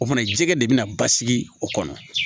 O fana jɛgɛ de bɛna basigi o kɔnɔ